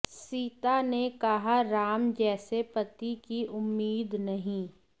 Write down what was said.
सीता ने कहा राम जैसे पति की उम्मीद नहीं